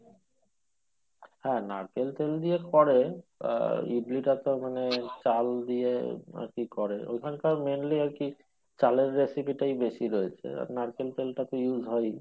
হ্যাঁ নারকেল তেল দিয়ে করে আর ইডলিটা তো মানে চাল দিয়ে আরকি করে ওইখানকার mainly আরকি চালের recipe টাই বেশি রয়েছে আর নারকেল তেলটা তো use হয়ই